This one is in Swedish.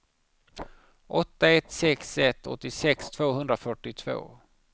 åtta ett sex ett åttiosex tvåhundrafyrtiotvå